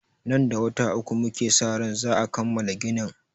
Nan da wata uku muke sa ran za'a kammala ginin.